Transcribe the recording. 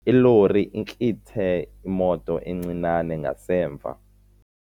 Ilori intlithe imoto encinane ngasemva.